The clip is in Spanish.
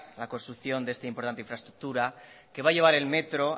la construcción de esta importante infraestructura que va a llevar el metro